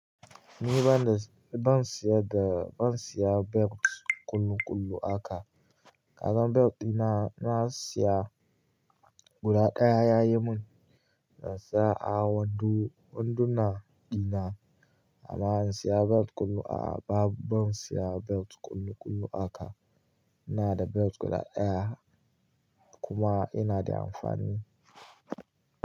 Ni ban siyan da ban siya belt kullu kullu haka. Kaga belt dina na siya guda ɗaya ya yi mun nasa a wando, wanduna dina amma in siya belt kullu a babu ban siya belt kullu kullu haka. Ina da belt guda ɗaya. Kuma yana da amfani.